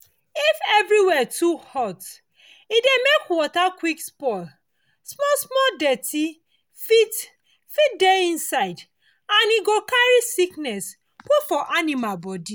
if everywhere too hot e dey make water quick spoil small small dirty fit fit dey inside and e go carry sickness put for animal body